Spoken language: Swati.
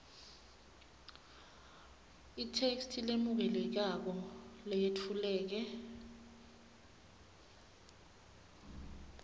itheksthi lemukelekako leyetfuleke